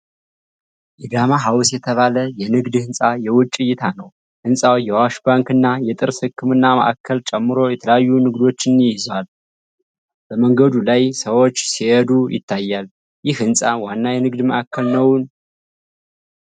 የ'ዳማ ሃውስ' የተባለ የንግድ ሕንፃ የውጪ እይታ ነው። ሕንፃው የ'አዋሽ ባንክ' እና የጥርስ ህክምና ማዕከልን ጨምሮ የተለያዩ ንግዶችን ይዟል። በመንገዱ ላይ ሰዎች ሲሄዱ ይታያሉ። ይህ ህንፃ ዋና የንግድ ማዕከል ነው?